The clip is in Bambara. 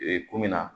Ee kun min na